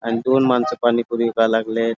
आणि दोन माणस पाणी पुरी विकाला लागलेत|